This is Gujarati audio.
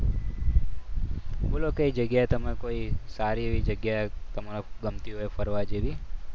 બોલો કઈ જગ્યાએ તમે કોઈ સારી એવી જગ્યાએ તમને ગમતી હોય ફરવા જેવી.